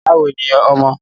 Báwo ni ọmọ?